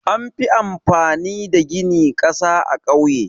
Anfi amfani da gini ƙasa a ƙauye.